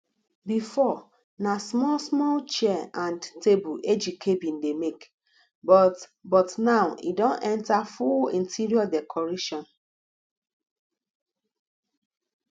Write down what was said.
before na small small chair and table ejike bin dey make but but now e don enter full interior decoration